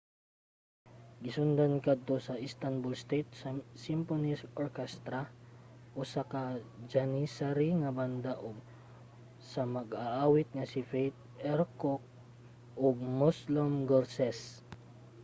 gisundan kadto sa istanbul state symphony orchestra usa ka janissary nga banda ug sa mag-aawit nga si fatih erkoç ug müslüm gürses